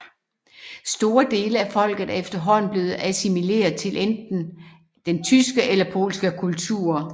Store dele af folket er efterhånden blevet assimileret til enten den tyske eller polske kultur